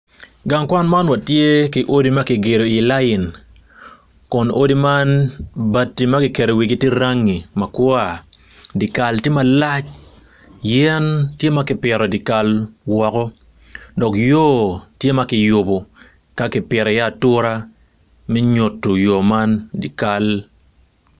Gang kwan ma watye ki odi ma kigedo i layin kun odi man bati ma kiketo i wigi tye rangi ma kwa, dye kal tye malac yen tye ma kipito i dye kal woko dok yo tye ma kiyubo ka kipito iye atura me nyuto dye kal.